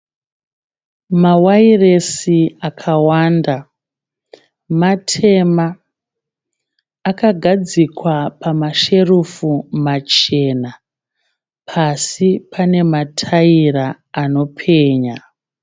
Mawairesi akawanda. Matema akagadzikwa pamasherufu machena. Pasi pane mataira anopenya .